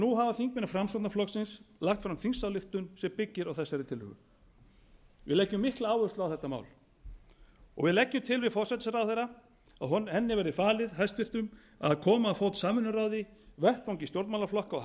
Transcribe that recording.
nú hafa þingmenn framsóknarflokksins lagt fram þingsályktun sem byggir á þessari tillögu við leggjum mikla áherslu á þetta mál við leggjum til vil forsætisráðherra að henni verði falið hæstvirtur að koma á fót samvinnuráði vettvangi stjórnmálaflokka og